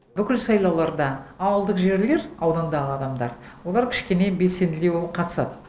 бүкіл сайлауларда ауылдық жерлер аудандағы адамдар олар кішкене белсенділеу қатысады